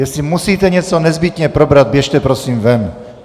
Jestli musíte něco nezbytně probrat, běžte prosím ven!